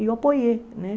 E eu apoiei, né?